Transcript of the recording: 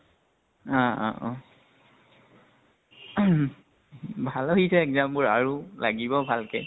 অহ অ অ ভালে হৈছে exam বোৰ আৰু লাগিব ভালকে।